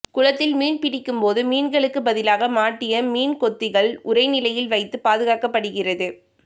குளத்தில் மீன் பிடிக்கும் போது மீன்களுக்கு பதிலாக மாட்டிய மீன்கொத்திகள் உறைநிலையில் வைத்து பாதுகாக்கப்படுகிறது